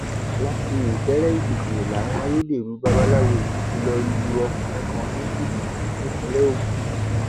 láti ìkéréèkìtì làwọn ayédèrú babaláwo yìí ti lọọ lu ọkùnrin kan ní jìbìtì nípìnlẹ ogun